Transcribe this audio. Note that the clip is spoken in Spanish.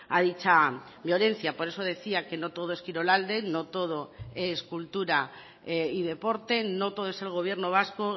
a dicha violencia por eso decía que no todo es kirolalde no todo es cultura y deporte no todo es el gobierno vasco